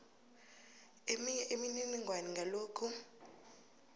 eminye imininingwana ngalokhu